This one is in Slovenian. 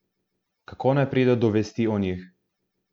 Kako naj pride do vesti o njih?